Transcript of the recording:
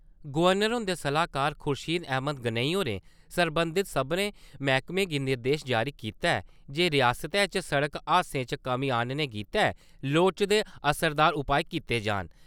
Governor हुन्दे सलाहकार खुर्शीद अहमद गनई होरें सरबंधत सभनें मैह्कमें गी निर्देश जारी कीता ऐ जे रियासतै च सड़क हादसें च कमीं आह्‌नने गितै लोड़चदे असरदार उपाऽ कीते जान।